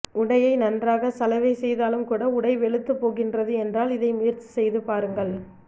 உடையை நன்றாக சலவை செய்தாலும் கூட உடை வெளுத்து போகின்றது என்றால் இதை முயற்சி செய்து பாருங்கள்